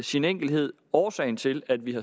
sin enkelhed årsagen til at vi